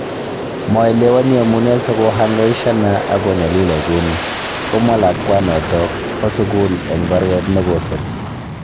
Maelewani ale amune sikohangaishana ako nyalila kuni. " komwa lakwanoto ba sukul eng baruet ne kosir